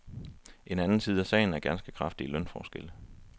En anden side af sagen er ganske kraftige lønforskelle.